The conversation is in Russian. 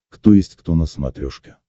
кто есть кто на смотрешке